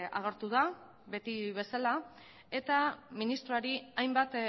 agertu da beti bezala eta ministroari hainbat